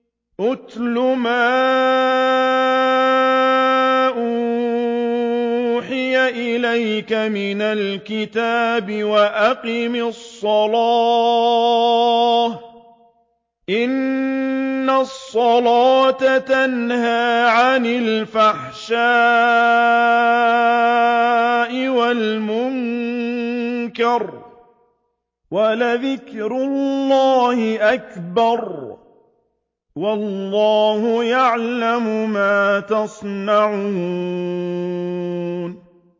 اتْلُ مَا أُوحِيَ إِلَيْكَ مِنَ الْكِتَابِ وَأَقِمِ الصَّلَاةَ ۖ إِنَّ الصَّلَاةَ تَنْهَىٰ عَنِ الْفَحْشَاءِ وَالْمُنكَرِ ۗ وَلَذِكْرُ اللَّهِ أَكْبَرُ ۗ وَاللَّهُ يَعْلَمُ مَا تَصْنَعُونَ